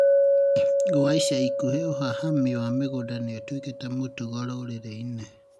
Gwa ica ikuhĩ ũhahami wa mĩgũnda nĩũtuĩkĩte mũtugo rũrĩrĩ-inĩ